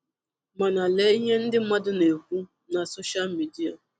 Mànà lee ihe ndị mmadụ na-ekwu na Sọ́shal mídíà.”